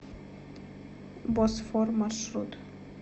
босфор маршрут